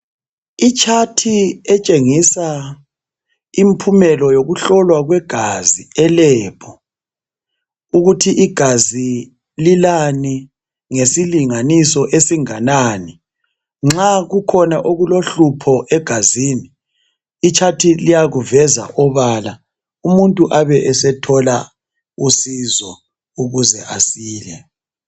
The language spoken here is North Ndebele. Itshathi etshengisa imphumelo yokuhlolwa kwegazi elebhu, ukuthi igazi lilani ngesilinganiso esinganani. Nxa kukhona okulohlupho egazini itshathi liyakuveza obala umuntu abe esethola usizo ukuze asile.